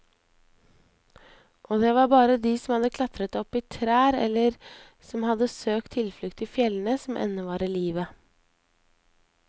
Og det var bare de som hadde klatret opp i trær eller som hadde søkt tilflukt i fjellene, som ennå var i live.